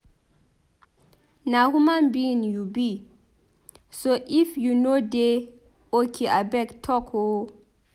Na human being you be so if you no dey okay abeg talk o.